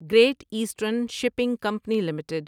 great eastern shipping company limited